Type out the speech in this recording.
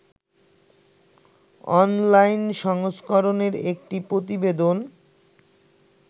online সংস্করনের একটি প্রতিবেদন